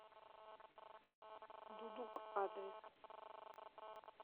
дудук адрес